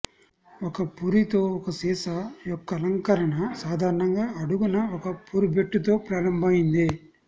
ఒక పురి తో ఒక సీసా యొక్క అలంకరణ సాధారణంగా అడుగున ఒక పురిబెట్టు తో ప్రారంభమైంది